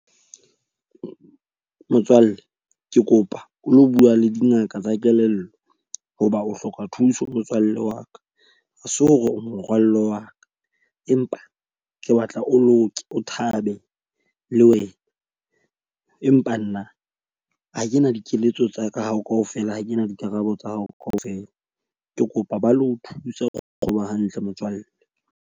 Motswalle, ke kopa o lo bua le dingaka tsa kelello hoba o hloka thuso motswalle wa ka. Ha se o morwallo wa ka, empa ke batla o lo o thabe le wena. Empa nna ha kena dikeletso tsa hao ka ofela, ha kena dikarabo tsa hao ka ofela. Ke kopa ba lo thusa ho kgoba hantle motswalle.